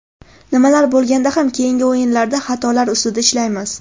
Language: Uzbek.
Nima bo‘lganda ham keyingi o‘yinlarda xatolar ustida ishlaymiz.